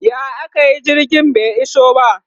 ya akayi jirgin bai iso ba?